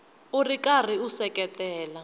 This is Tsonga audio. u ri karhi u seketela